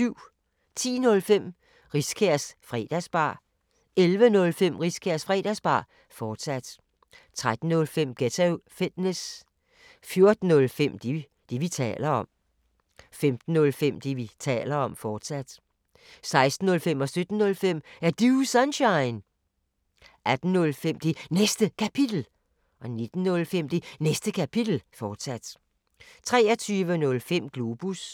10:05: Riskærs Fredagsbar 11:05: Riskærs Fredagsbar, fortsat 13:05: Ghetto Fitness 14:05: Det, vi taler om 15:05: Det, vi taler om, fortsat 16:05: Er Du Sunshine? 17:05: Er Du Sunshine? 18:05: Det Næste Kapitel 19:05: Det Næste Kapitel, fortsat 23:05: Globus